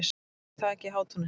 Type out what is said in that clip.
Reykur í þaki í Hátúni